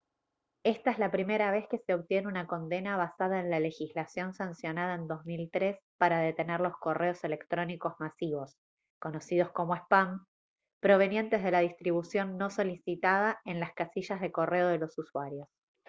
esta es la primera vez que se obtiene una condena basada en la legislación sancionada en 2003 para detener los correos electrónicos masivos conocidos como spam provenientes de la distribución no solicitada en las casillas de correo de los usuarios